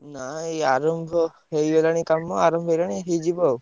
ନା ଏଇ ଆରମ୍ଭ ହେଇଗଲାଣି କାମ ଆରମ୍ଭ ହେଇଗଲାଣି ଆଉ ହେଇଯିବ ଆଉ।